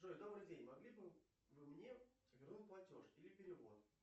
джой добрый день могли бы вы мне вернуть платеж или перевод